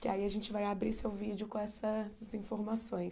Que aí a gente vai abrir seu vídeo com essas informações.